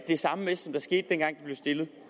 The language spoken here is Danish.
det samme med som der skete dengang blev stillet